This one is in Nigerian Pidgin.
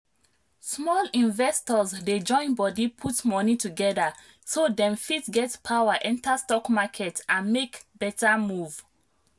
small investors dey join body put money together so dem fit get power enter stock market and make better move.